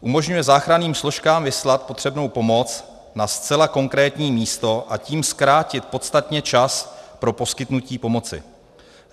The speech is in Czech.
Umožňuje záchranným složkám vyslat potřebnou pomoc na zcela konkrétní místo, a tím zkrátit podstatně čas pro poskytnutí pomoci.